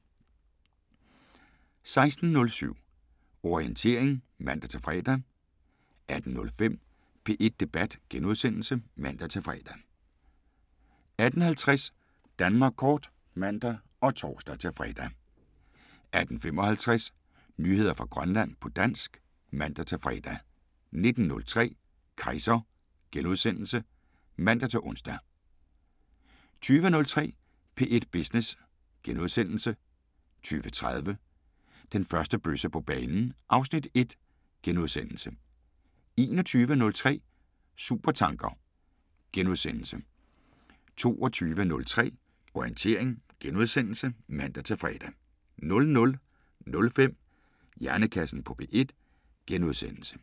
16:07: Orientering (man-fre) 18:05: P1 Debat *(man-fre) 18:50: Danmark Kort (man og tor-fre) 18:55: Nyheder fra Grønland på dansk (man-fre) 19:03: Kejser *(man-ons) 20:03: P1 Business * 20:30: Den første bøsse på banen (Afs. 1)* 21:03: Supertanker * 22:03: Orientering *(man-fre) 00:05: Hjernekassen på P1 *